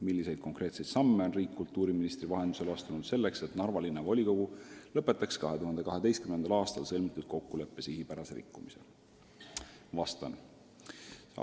Milliseid konkreetseid samme on riik kultuuriministri vahendusel astunud selleks, et Narva Linnavolikogu lõpetaks 2012. aastal sõlmitud kokkuleppe sihipärase rikkumise?